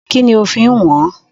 Kínní ó fi ń wọn-án?